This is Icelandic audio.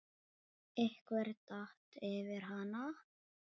Einhver datt yfir hana.